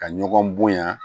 Ka ɲɔgɔn bonya